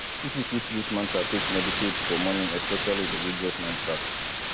pipo fit use mantra take meditate for morning especially religious mantra